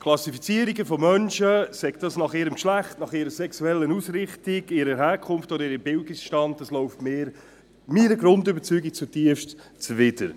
Klassifizierungen von Menschen, sei dies nach ihrem Geschlecht, nach ihrer sexuellen Ausrichtung, ihrer Herkunft oder ihrem Bildungsstand, läuft meiner Grundüberzeugung zutiefst zuwider.